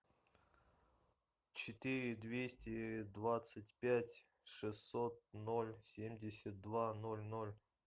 четыре двести двадцать пять шестьсот ноль семьдесят два ноль ноль